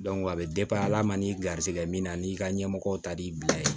a bɛ ala ma ni garisigɛ min na n'i ka ɲɛmɔgɔ ta b'i bila yen